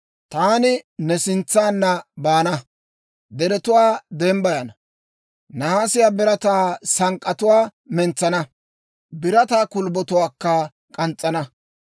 «Taani ne sintsanna baana; deretuwaa dembbayana. Nahaasiyaa birataa sank'k'atuwaa mentsana; birataa kulbbotuwaakka k'ans's'ana.